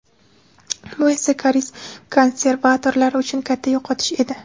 Bu esa koreys konservatorlari uchun katta yo‘qotish edi.